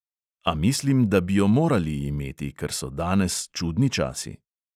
A mislim, da bi jo morali imeti, ker so danes čudni časi.